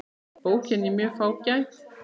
Bókin er mjög fágæt.